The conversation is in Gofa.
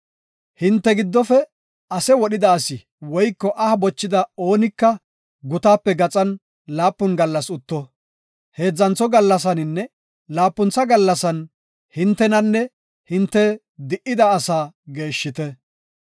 Hinte giddofe ase wodhida asi woyko aha bochida oonika gutaape gaxan laapun gallas utto; heedzantho gallasaninne laapuntha gallasan hintenanne hinte di77ida asaa geeshshite.